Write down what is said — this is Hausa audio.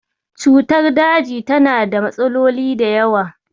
Cutar daji tana da matsaloli da yawa.